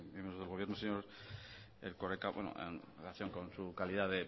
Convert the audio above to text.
miembros del gobierno señor erkoreka en relación con su calidad de